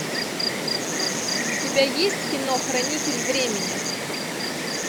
у тебя есть кино хранитель времени